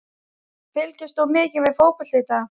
Fylgist þú mikið með fótbolta í dag?